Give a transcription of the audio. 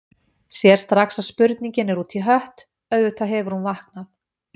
Sér strax að spurningin er út í hött, auðvitað hefur hún vaknað.